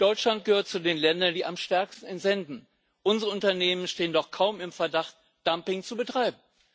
Deutschland gehört zu den Ländern, die am stärksten entsenden. Unsere Unternehmen stehen doch kaum im Verdacht, Dumping zu betreiben.